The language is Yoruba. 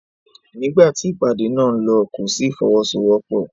Nígbà tí ìpàdé náà ń lọ kò sí ìfọwọ́sowọ́pọ̀.